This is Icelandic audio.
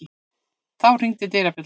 Þá hringdi dyrabjallan.